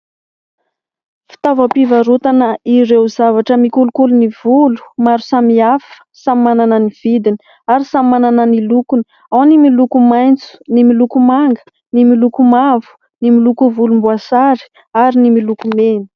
Fitaovam-pivarotana ireo zavatra mikolokolo ny volo maro samihafa, samy manana ny vidiny ary samy manana ny lokony : ao ny miloko maitso, ny miloko manga, ny miloko mavo, ny miloko volomboasary ary ny miloko mena.